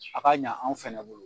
A ka ɲa anw fana bolo.